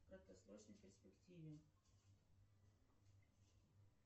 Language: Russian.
в краткосрочной перспективе